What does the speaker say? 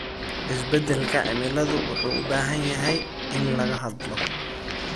Isbeddelka cimiladu wuxuu u baahan yahay in laga hadlo.